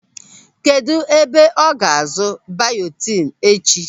Kedụ ebe ọ ga-azụ bayotin echi?